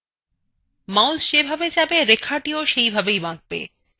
mouse যেভাবে যাবে রেখাটিও সেইভাবেই বাঁকবে